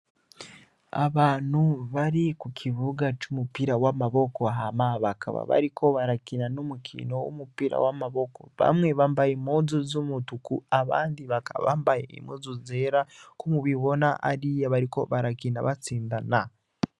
Abantu bari kukibuga cumupira wamaboko ,hama bakaba bariko barakina umukino wumupira wamaboko ,bamwe bambaye umupira wamaboko wumutuku ,abambaye impuzu zera barakina batsindana.